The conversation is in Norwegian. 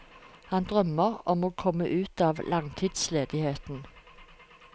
Han drømmer om å komme ut av langtidsledigheten.